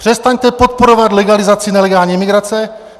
Přestaňte podporovat legalizaci nelegální imigrace!